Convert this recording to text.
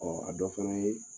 a dɔ fana ye